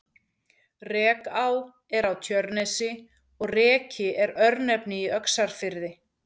Rekaá er á Tjörnesi og Reki er örnefni í Öxarfirði.